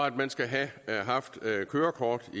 at man skal have haft kørekort